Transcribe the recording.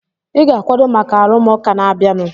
Ị ga-akwado maka arụmụka na-abịanụ!